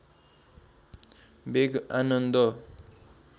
वेग आनन्द